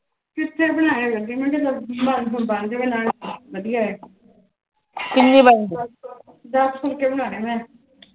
ਕਿਥੇ ਬਣਾਇਆ ਕਰਦੀ ਮੈ ਚੱਲ ਹੁਣ ਬਣ ਜਾਵੇ ਨਾਲੇ ਵਧੀਆ ਏ ਕਿੰਨੀ ਬਣਗੀ ਦਸ ਕ ਫੁਲਕੇ ਬਣਾਣੇ ਮੈ